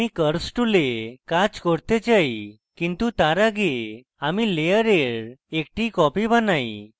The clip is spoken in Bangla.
আমি curves tool কাজ করতে চাই কিন্তু তার আগে আমি layer একটি copy বানাই